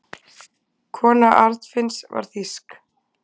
Kona Arnfinns var þýsk.